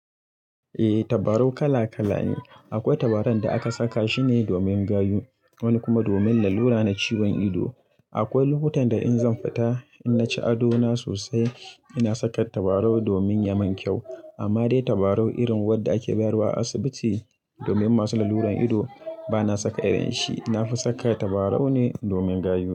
Eh tabarau kala kala ne. Akwai tabaran da aka saka shine domin gayu wani kuma domin lalura na ciwon ido. Akwai lokutan da in zan fita in na ci ado na sosai ina saka tabarau domin ya mun kyau. Amma dai tabarau irin wadda ake bayarwa a asibiti domin masu laluran ido bana saka irin shi. Na fi saka tabarau ne domin gayu.